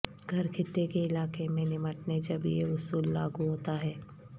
گھر خطے کے علاقے میں نمٹنے جب یہ اصول لاگو ہوتا ہے